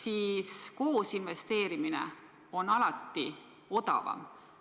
Aga koos investeerimine on alati odavam.